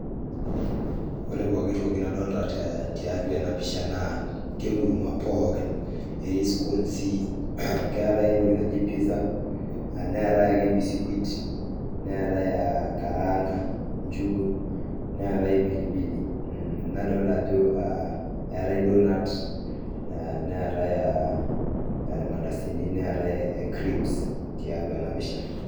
Ore pooki toki nadolita tiatwa ena pisha naa enkurma pooki. Etii skoonsi, keetae entoki naji [cz] pizza, neetae ake mbisikwit, neetae karanga njugu, neetae pilipili. Nadolita ajo eetae doughnut, neetae irmandasini, neetae crips tiatwa ena pisha